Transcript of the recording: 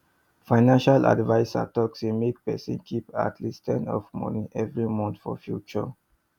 financial adviser talk say make person keep at least ten of moni every month for future